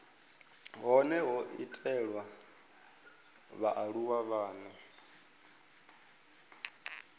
hone ho itelwa vhaaluwa vhane